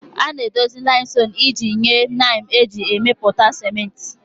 A ga-edozi limestone iji nye lime eji emepụta ciment